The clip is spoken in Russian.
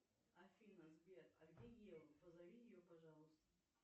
афина сбер а где ева позови ее пожалуйста